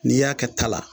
N'i y'a kɛ ta la